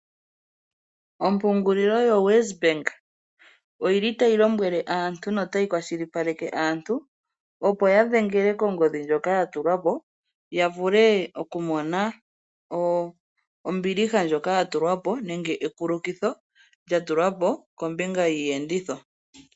Ompungulilo yoWest bank oyili tayi lombwele aantu notayi kwashilipaleke aantu opo yadhengele kongodhi ndjoka ya tulwapo yavuke okumona ombiliha ndjoka yatukwapo nenge ekulukitho lyatulwapo kombinga yiiyenditho.